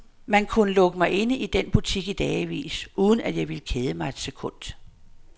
Man kunne lukke mig inde i den butik i dagevis, uden at jeg ville kede mig et sekund.